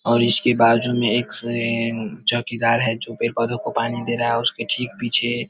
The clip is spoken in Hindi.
और इसके बाजु में एक फ्रें एए चौकीदार है जो पेड़-पौधे को पानी दे रहा हैऔर उसके ठीक पीछे --